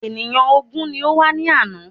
Ènìyàn ògún ni ó wá ní àná.